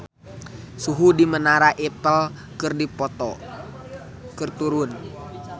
Suhu di Menara Eiffel keur turun